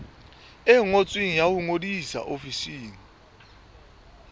ngotsweng ya ho ngodisa ofising